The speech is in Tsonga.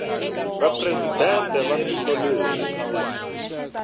va presidente wa tiko leri